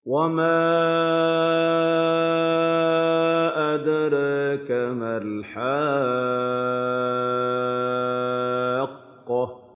وَمَا أَدْرَاكَ مَا الْحَاقَّةُ